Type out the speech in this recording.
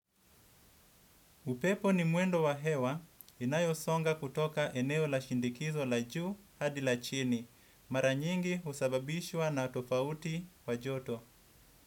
Upepo ni mwendo wa hewa inayo songa kutoka eneo la shinikizo la juu hadi la chini. Mara nyingi husababishwa na tofauti wa joto.